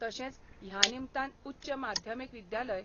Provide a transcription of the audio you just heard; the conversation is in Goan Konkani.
तशेंच ह्या निमतान उच्च माध्यमिक विद्यालय.